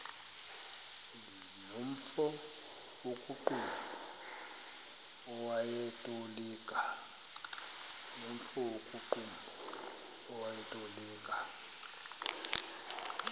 nomfo wakuqumbu owayetolika